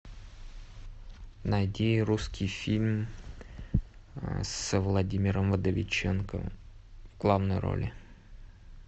найди русский фильм с владимиром вдовиченковым в главной роли